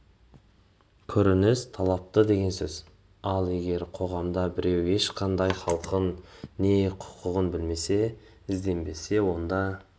көрініс тапты деген сөз ал егер қоғамда біреу ешқандай хақын не хұқын білмесе ізденбесе онда